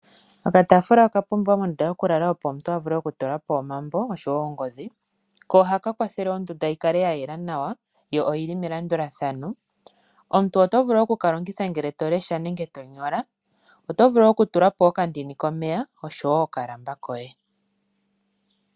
Okataafula oka pumbiwa mondunda yoku lala opo omuntu a vule oku tula po omambo oshowo ongodhi, ko ohaka kwathele ondunda yi kale ya yela nawa yo oyili melandulathano, omuntu oto vulu oku kalongitha ngele tolesha nenge tonyola oto vulu oku tula po oka ndini komeya oshowo okalamba koye.